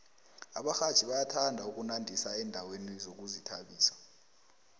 abarhatjhi bayathanda ukunandisa endaweni zokuzithabisa